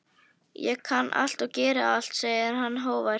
Ég kann allt og get allt, segir hann hógvær.